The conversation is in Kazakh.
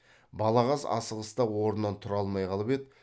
балағаз асығыста орнынан тұра алмай қалып еді